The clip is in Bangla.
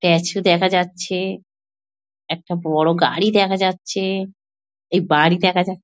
স্ট্যাচু দেখা যাচ্ছে। একটা বড় গাড়ি দেখা যাচ্ছে। এই বাড়ি দেখা যা--